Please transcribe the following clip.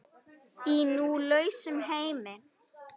Í nú lausum heimi.